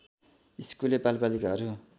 स्कुले बालबालिकाहरू